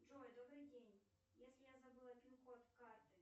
джой добрый день если я забыла пин код карты